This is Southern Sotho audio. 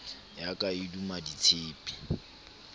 ya ka e duma ditshepe